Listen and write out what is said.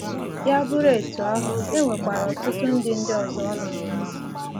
Ya bụrụ etu ahụ, e nwekwara ọtụtụ ndị ọzọ ọ na-amasị.